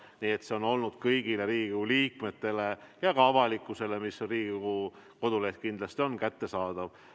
Nii et see on olnud kõigile Riigikogu liikmetele ja ka avalikkusele – Riigikogu koduleht on kindlasti avalik – kättesaadav.